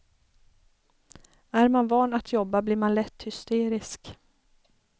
Är man van att jobba blir man lätt hysterisk.